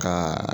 Ka